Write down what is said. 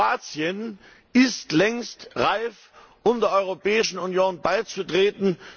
Kroatien ist längst reif, der Europäischen Union beizutreten.